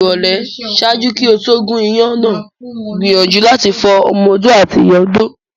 Ni ìrọ̀lẹ́, ṣaaju ki o to gún iyán náà gbiyanju lati fo ọmọ-odó ati ìyá odó